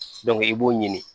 i b'o ɲini